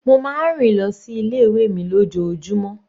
Mo máa ń rìn lọ sí ilé ìwé mi lójoojúmó.